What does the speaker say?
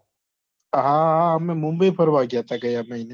હા હા અમે મુંબઈ ફરવા ગયા હતા ગયા મહીને.